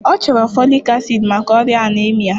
Ọ chọrọ folik acid maka oria anaemia